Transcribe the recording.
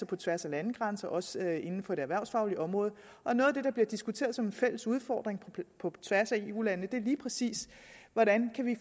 på tværs af landegrænser også inden for det erhvervsfaglige område og noget af det der bliver diskuteret som en fælles udfordring på tværs af eu landene er lige præcis hvordan vi